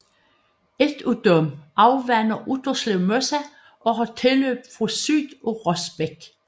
Et af disse afvander Utterslev Mose og har tilløb fra syd af Rosbæk